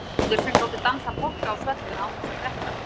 Þeir þóttu góðir sem gátu dansað polka á svellinu án þess að detta.